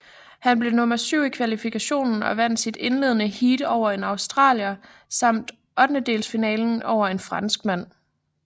Han blev nummer syv i kvalifikationen og vandt sit indledende heat over en australier samt ottendedelsfinalen over en franskmand